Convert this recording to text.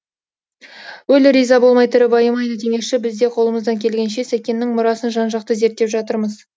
өлі риза болмай тірі байымайды демекші біз де қолымыздан келгенше сәкеннің мұрасын жан жақты зерттеп жатырмыз